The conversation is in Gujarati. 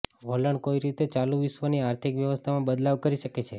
વલણ કોઈ રીતે ચાલુ વિશ્વની આર્થિક વ્યવસ્થામાં બદલાવ કરી શકે છે